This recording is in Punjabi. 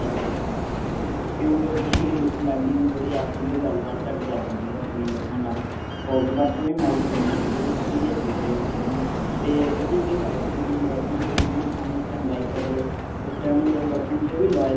ਲੜਾਈ ਹੁੰਦੀ ਸੀਗੀ ਕਿਉਂ ਕਿਉਂਕਿ ਉਹ ਲਾਡੀ ਨੂੰ ਥੋੜੀ ਆਦਤ ਸੀਗੀ ਉਹ ਗੱਲ ਬਾਤ ਘੱਟ ਕਰਦਾ ਸੀਗਾ ਆਪਣੀ girlfriend ਨਾਲ। but ਓਹਨੇ marriage ਕਰਾਉਣੀ ਸੀਗੀ ਉਹ serious ਸੀਗਾ ਓਹਦੇ ਪਿੱਛੇ ਹੈ ਨਾ। ਤੇ ਓਹਦੀ ਜਿਹੜੀ wife ਸੀਗੀ ਉ girlfriend ਸੀਗੀ ਹੈ ਨਾ ਹੁਣ ਇਸ time wife ਹੈ ਚਲੋ ਉਸ time ਉਹ ਜਦੋਂ girlfriend ਸੀ ਉਹ ਵੀ loyal